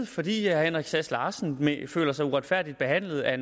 fordi herre henrik sass larsen føler sig uretfærdigt behandlet af